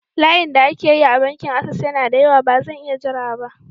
Layin da ake yi a bankin Ases yana da yawa, ba zan iya jira ba.